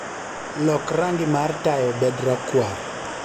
Lok rangi mar taya obed rakwar